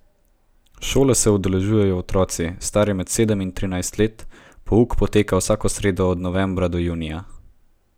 Šole se udeležujejo otroci, stari med sedem in trinajst let, pouk poteka vsako sredo od novembra do junija.